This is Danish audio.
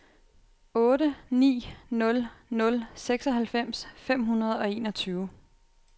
otte ni nul nul seksoghalvfems fem hundrede og enogtyve